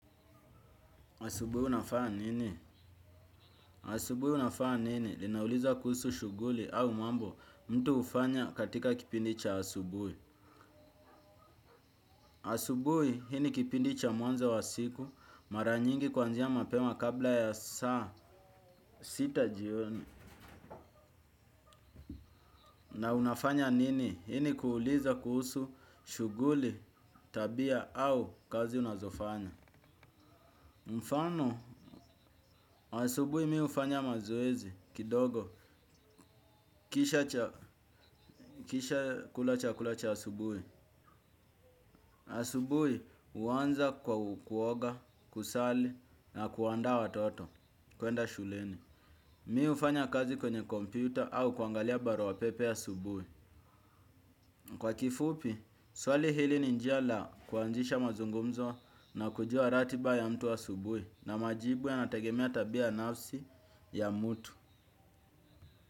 Asubui unafaa nini? Asubui unafaa nini? Linauliza kuhusu shuguli au mambo mtu ufanya katika kipindi cha asubui. Asubui hii ni kipindicha mwanza wa siku maranyingi kuanzia mapema kabla ya saa sita jioni. Na unafanya nini? Hi ni kuuliza kuhusu shuguli tabia au kazi unazofanya. Mfano, asubui mi ufanya mazoezi kidogo. Kisha kula chakula cha asubui. Asubui uwanza kwa kuoga, kusali na kuandaa watoto kuenda shuleni. Mi ufanya kazi kwenye kompyuta au kuangalia barua pepe asubui. Kwa kifupi, swali hili ni njia la kuanzisha mazungumzo nakujua ratiba ya mtu asubui. Na majibu yanatagemea tabia nafsi ya mutu.